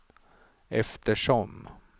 eftersom